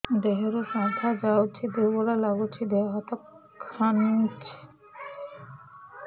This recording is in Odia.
ଦେହରୁ ସାଧା ଯାଉଚି ଦୁର୍ବଳ ଲାଗୁଚି ଦେହ ହାତ ଖାନ୍ଚୁଚି